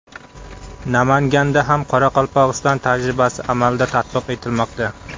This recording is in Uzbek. Namanganda ham Qoraqalpog‘iston tajribasi amalda tatbiq etilmoqda.